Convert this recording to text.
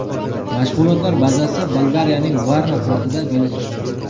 Mashg‘ulotlar bazasi Bolgariyaning Varna portida joylashgan.